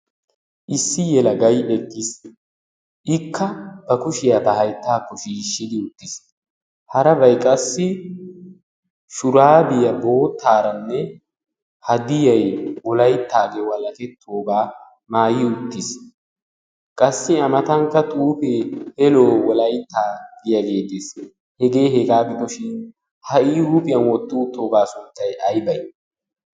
issi yelagay eqqiis ikka ba kushiyaa ba hayttaakko shiishshidi uttiis harabay qassi shuraabiyaa boottaaranne hadiyai wolaittaagee walakettoogaa maayi uttiis qassi amatankka xuufee helo wolaittaa giyaagee teis hegee hegaa gidoshin ha"i huuphiyan wottuuttoogaa sunttay ay bay?